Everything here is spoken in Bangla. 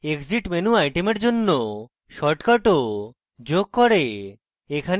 exit menu item জন্য shortcut ও যোগ করে